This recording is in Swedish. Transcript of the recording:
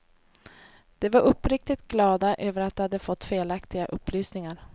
De var uppriktigt glada över att de hade fått felaktiga upplysningar.